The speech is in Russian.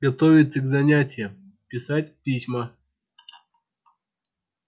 готовиться к занятиям писать письма